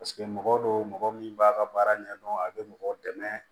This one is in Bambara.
Paseke mɔgɔ don mɔgɔ min b'a ka baara ɲɛdɔn a be mɔgɔ dɛmɛ